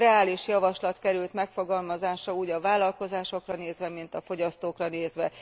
Reális javaslat került megfogalmazásra úgy a vállalkozásokra nézve, mint a fogyasztókra nézve.